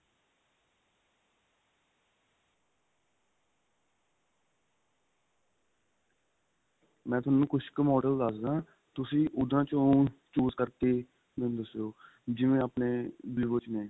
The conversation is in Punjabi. ਮੈਂ ਤੁਹਾਨੂੰ ਕੁੱਝ ਕ model ਦੱਸਦਾ ਤੁਸੀਂ ਉਹਨਾ ਚੋ choose ਕਰਕੇ ਮੈਨੂੰ ਦਸਿਊ ਜਿਵੇਂ ਆਪਣੇ vivo ਚ ਨੇ